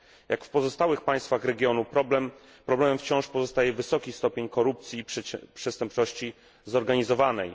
Jak w pozostałych państwach regionu, problemem wciąż pozostaje wysoki stopień korupcji i przestępczości zorganizowanej.